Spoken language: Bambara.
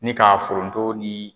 Ni ka foronto ni